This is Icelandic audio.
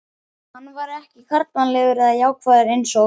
Hann væri ekki karlmannlegur eða jákvæður einsog